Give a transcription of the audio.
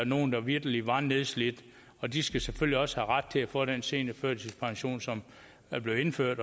nogle der vitterlig var nedslidt og de skal selvfølgelig også have ret til at få den seniorførtidspension som er blevet indført